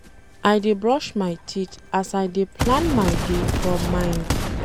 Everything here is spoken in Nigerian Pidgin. I dey brush my teeth as I dey plan my day for mind.